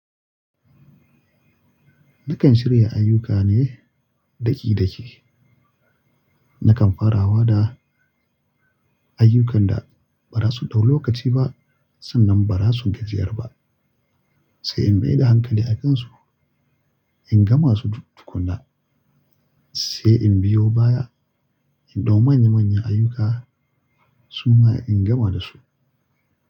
Nakan shirya ayyuka ne daƙi-daƙi. Nakan farawa da ayyukan da ba za su ɗau lokaci ba sannan ba za su gajiyar ba, sai in mai da hankali a kansu in gama su duk tukuna sai in biyo baya in ɗau manya-manya ayyuka su ma in gama da su.